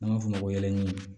N'a fɔ yɛli